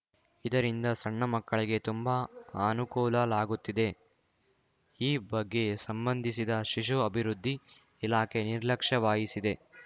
ಇದರಿಂದ ಸಣ್ಣ ಮಕ್ಕಳಿಗೆ ತುಂಬಾ ಅನುಕೂಲಲಾಗುತ್ತಿದೆ ಈ ಬಗ್ಗೆ ಸಂಬಂಧಿಸಿದ ಶಿಶು ಅಭಿವೃದ್ಧಿ ಇಲಾಖೆ ನಿರ್ಲಕ್ಷ್ಯ ವಾಹಿಸಿದೆ